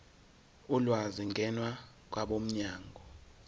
ulwazi ngena kwabomnyango